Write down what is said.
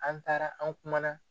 An taara an kuma na.